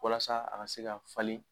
Walasa a ka se ka falen